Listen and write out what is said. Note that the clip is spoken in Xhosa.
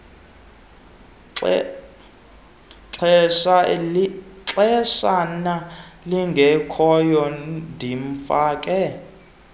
xeshana lingekhoyo ndimfake